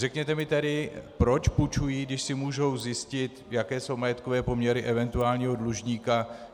Řekněte mi tedy, proč půjčují, když si můžou zjistit, jaké jsou majetkové poměry eventuálního dlužníka.